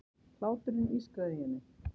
Hláturinn ískraði í henni.